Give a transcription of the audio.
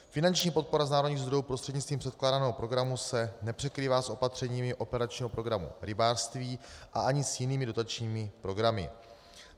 Finanční podpora z národních zdrojů prostřednictvím předkládaného programu se nepřekrývá s opatřeními operačního programu Rybářství a ani s jinými dotačními programy.